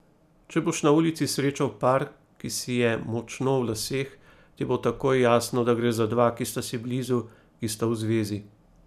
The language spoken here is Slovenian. Če boš na ulici srečal par, ki si je močno v laseh, ti bo takoj jasno, da gre za dva, ki sta si blizu, ki sta v zvezi.